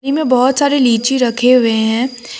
ईमे बहोत सारे लीची रखे हुए हैं।